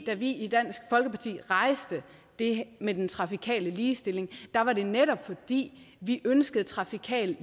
da vi i dansk folkeparti rejste det med den trafikale ligestilling var det netop fordi vi ønskede trafikal